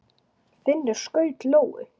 Finnur skaut lóu.